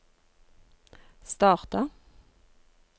starta